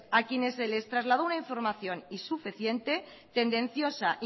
a quienes se les trasladó una información insuficiente tendenciosa